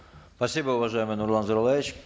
спасибо уважаемый нурлан зайроллаевич